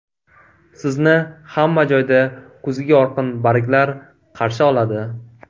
Sizni hamma joyda kuzgi yorqin barglar qarshi oladi.